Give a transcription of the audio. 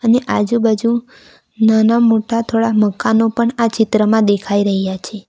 અને આજુબાજુ નાના મોટા થોડા મકાનો પણ આ ચિત્રમાં દેખાઈ રહ્યા છે.